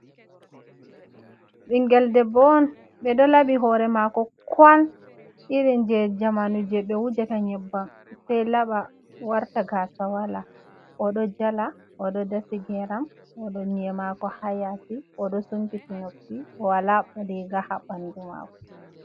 Ɓingel debbo on. Ɓeɗo laɓi hore mako kwal irin je zamanu je ɓe wujata nyebbam sei laɓa warta gasa wala. Oɗo jala, oɗo dasi geram, oɗo nyi'e mako ha yasi, oɗo sumpiti noppi bo wala riga ha ɓandu mako.